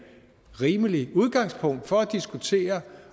rimeligt udgangspunkt for at diskutere